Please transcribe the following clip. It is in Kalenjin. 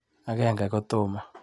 Agenge kotomo.